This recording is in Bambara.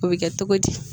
O bɛ kɛ cogo di